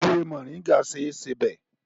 Ewé Moringa ṣe é sebẹ̀.